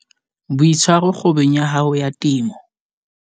Boitshwaro kgwebong ya hao ya temo